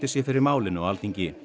sé fyrir málinu á Alþingi